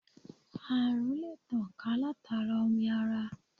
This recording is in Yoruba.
À̀rùn lè tàn ká látara omi ara.